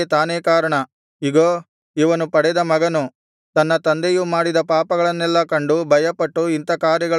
ಇಗೋ ಇವನು ಪಡೆದ ಮಗನು ತನ್ನ ತಂದೆಯು ಮಾಡಿದ ಪಾಪಗಳನ್ನೆಲ್ಲಾ ಕಂಡು ಭಯಪಟ್ಟು ಇಂಥಾ ಕಾರ್ಯಗಳನ್ನು ನಡೆಸದೆ